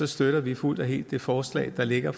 støtter vi fuldt og helt det forslag der ligger